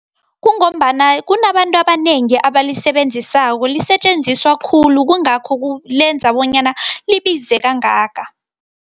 Kungombana kunabantu abanengi abalisebenzisako, lisetjenziswa khulu kungakho lenza bonyana libize kangaka.